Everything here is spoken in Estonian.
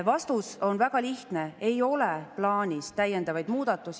Vastus on väga lihtne: ei ole plaanis täiendavaid muudatusi.